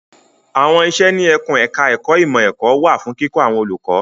À́wọn iṣẹ́ ní ẹkùn ẹ̀ka ẹ̀kó ìmọ̀ ẹ̀kọ́ wà fún kíkọ́ àwọn olùkọ́.